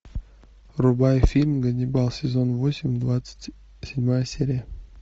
врубай фильм ганнибал сезон восемь двадцать седьмая серия